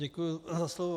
Děkuji za slovo.